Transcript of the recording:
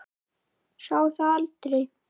Sá það aldrei